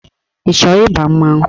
Ị chọrọ ịba mmanwụ?